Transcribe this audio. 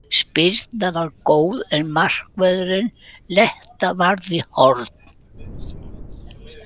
Spyrnan var góð en markvörður Letta varði í horn.